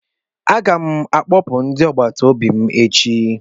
M ga-akpọpụ ndị agbata obi m echi.